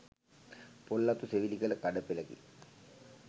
පොල් අතු සෙවිලි කළ කඩ පෙළකි.